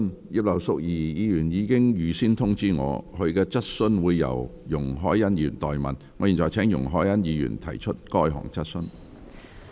葉劉淑儀議員已預先通知我，她的質詢會由容海恩議員代為提出。